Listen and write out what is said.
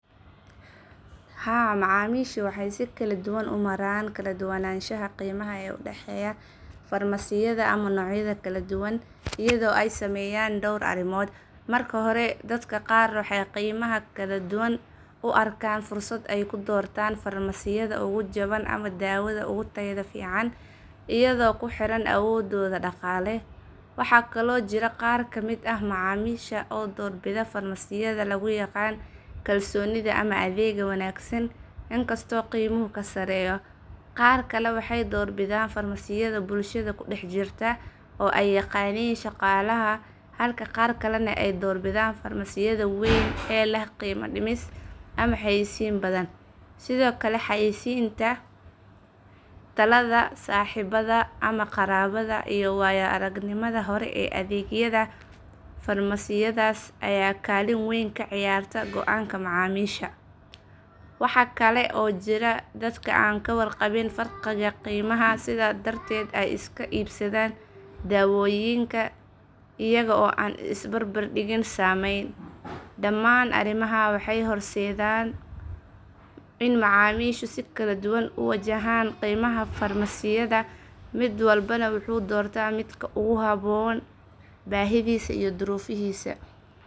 Haa, macamishu waxay si kala duwan u maraan kala duwanaanshaha qiimaha ee u dhexeeya farmasiyada ama noocyada kala duwan iyadoo ay saameeyaan dhowr arrimood. Marka hore, dadka qaar waxay qiimaha kala duwan u arkaan fursad ay ku doortaan farmasiyada ugu jaban ama daawada ugu tayada fiican iyadoo ku xiran awooddooda dhaqaale. Waxaa kaloo jira qaar ka mid ah macamisha oo doorbida farmasiyada lagu yaqaan kalsoonida ama adeegga wanaagsan inkastoo qiimuhu ka sarreeyo. Qaar kale waxay door bidaan farmasiyada bulshada ku dhex jirta oo ay yaqaaniin shaqaalaha, halka qaar kalena ay door bidaan farmasiyada weyn ee leh qiime dhimis ama xayeysiin badan. Sidoo kale, xayaysiinta, talada saaxiibada ama qaraabada, iyo waayo aragnimada hore ee adeegyada farmasiyadaas ayaa kaalin weyn ka ciyaarta go’aanka macamisha. Waxa kale oo jira dadka aan ka warqabin farqiga qiimaha, sidaas darteedna ay iska iibsadaan daawooyinka iyaga oo aan is barbardhig sameyn. Dhammaan arrimahan waxay horseedaan in macamishu si kala duwan u wajahaan qiimaha farmasiyada, mid walbana wuxuu doortaa midka ugu habboon baahidiisa iyo duruufihiisa.